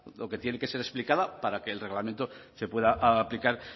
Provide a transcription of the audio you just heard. o que tiene que ser explicada para que el reglamento se pueda aplicar